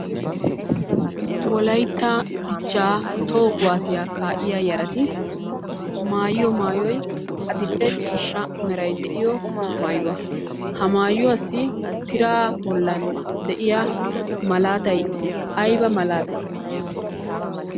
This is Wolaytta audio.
Wolaytta dichchaa toho kuwaasiya kaa'iya yarati mayiyo mayoy adil'e ciishsha Meray de'iyo mayuwa. Ha mayuwassi tiraa bollan de'iya malaatay ayiba malaatee?